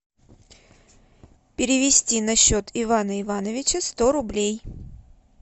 перевести на счет ивана ивановича сто рублей